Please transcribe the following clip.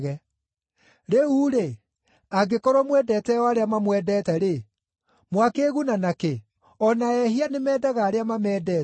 “Rĩu-rĩ, angĩkorwo mwendete o arĩa mamwendete-rĩ, mwakĩĩguna na kĩ? O na ‘ehia’ nĩmendaga arĩa mamendete.